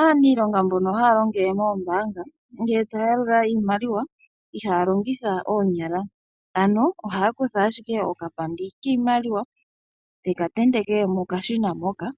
Aaniilonga mbono haya longele moombanga, ngele taya yalula iimaliwa ihaya longitha oonyala. Ano ohaya kutha ashike okapandi kiimaliwa teka tendeke mokashina moka,